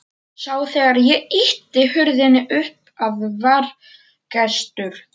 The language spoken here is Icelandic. Sá þegar ég ýtti hurðinni upp að það var gestur.